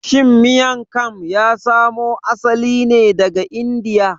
Shin Miang kam ya samo asali ne daga Indiya?